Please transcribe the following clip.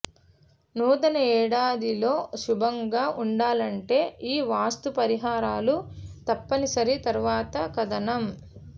నూతన ఏడాదిలో శుభంగా ఉండాలంటే ఈ వాస్తు పరిహారాలు తప్పనిసరి తరవాత కథనం